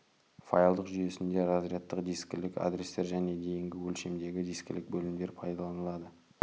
файлдық жүйесінде разрядтық дискілік адрестер және дейінгі өлшемдегі дискілік бөлімдер пайдаланылады